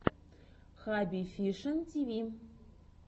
хабби фишин тиви